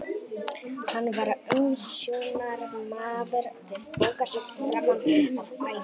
Hann var umsjónarmaður við bókasafn framan af ævinni.